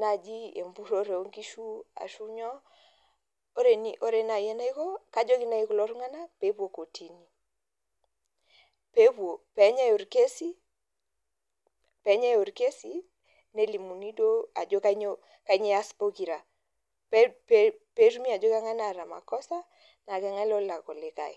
naaji empurore oonkishu ore naaji enaiko kajoki naaji kulo tung'anak pee epuo kotini pee enyae orkesi nelimuni ajo kainyoo eas pokira pee etumoki ajo keng'ae naata makosa naa keng'ae nalak olikae.